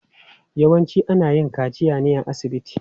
Yawanci ana yin kaciya ne a asibiti.